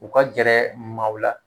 U ka gɛrɛ maaw la